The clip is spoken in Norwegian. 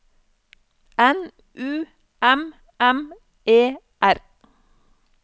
N U M M E R